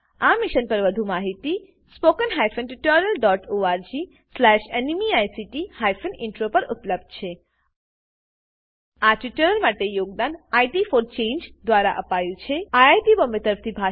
આ મિશન પરની વધુ માહિતી spoken tutorialorgnmeict ઇન્ટ્રો પર ઉપલબ્ધ છે આ ટ્યુટોરીયલ માટે યોગદાન ઇટ ફોર ચાંગે દ્વારા અપાયું છે અમને જોડાવાબદ્દલ આભાર